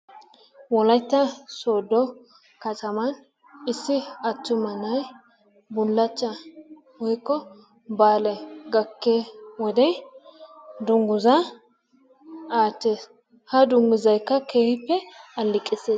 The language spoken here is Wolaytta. Wolaytta sooddo kataman issi attuma na'ay bullachchaa woykko baalay gakkiyo wode dungguzaa aattees. Ha dungguzaykka keehippe alleeqissees.